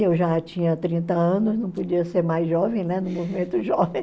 Eu já tinha trinta anos, não podia ser mais jovem, né, no movimento jovem.